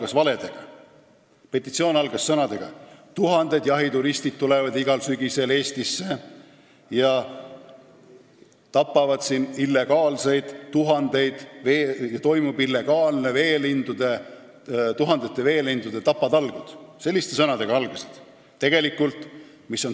See algas sõnadega, et tuhanded jahituristid tulevad igal sügisel Eestisse ja tapavad illegaalselt tuhandeid veelinde, siin toimuvad tuhandete veelindude illegaalsed tapatalgud.